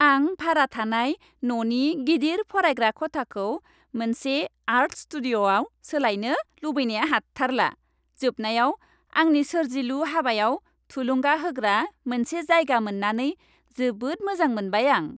आं भारा थानाय न'नि गिदिर फरायग्रा खथाखौ मोनसे आर्ट स्टुडिअ'आव सोलायनो लुबैनाया हाथारला। जोबनायाव आंनि सोरजिलु हाबायाव थुलुंगा होग्रा मोनसे जायगा मोन्नानै जोबोद मोजां मोनबाय आं।